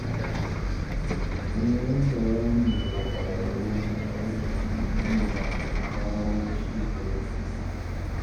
Neman bayani daga ƙwararru kan aikin yi na kawo ci gaba da wuri